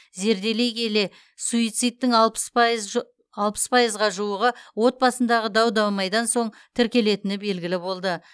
зерделей келе суицидтің алпыс пайыз ж алпыс пайызға жуығы отбасындағы дау дамайдан соң тіркелетіні белгілі болды